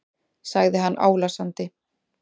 sagði hann álasandi.